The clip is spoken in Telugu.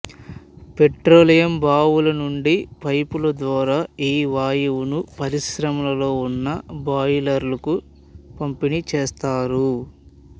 పెట్రోలియం బావులనుండి పైపుల ద్వారా ఈ వాయువును పరిశ్రమలలో ఉన్న బాయిలరుకు పంపిణి చేస్తారు